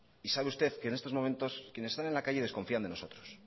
y sabe usted que en estos momentos quienes están en la calle desconfían de nosotros